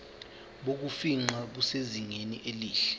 bokufingqa busezingeni elihle